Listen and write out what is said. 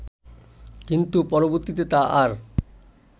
কিন্তু পরবর্তীতে তা আর